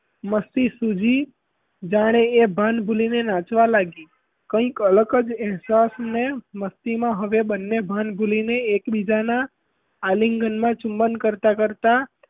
મસ્તી સૂજી જાણે એ ભાન ભૂલીને નાચવા લાગી કઈક અલગ જ અહેસાસ ને મસ્તીમાં તે બન્ને ભાન ભૂલીને એકબીજાનાં આલિંગનમાં ચુંબન કરતાં કરતાં,